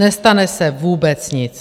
Nestane se vůbec nic!